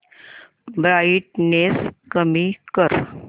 brightness कमी कर